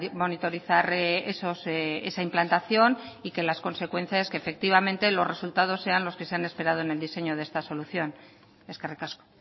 monitorizar esa implantación y que las consecuencias efectivamente los resultados sean los que se han esperado en el diseño de esta solución eskerrik asko